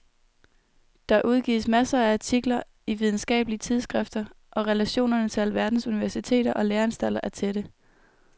Der udgives masser af artikler i videnskabelige tidsskrifter og relationerne til alverdens universiteter og læreanstalter er tætte.